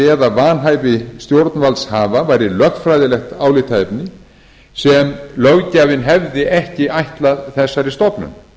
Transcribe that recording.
eða vanhæfi stjórnvaldshafa væri lögfræðilegt álitaefni sem löggjafinn hefði ekki ætlað þessari stofnun